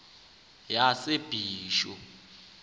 yasebisho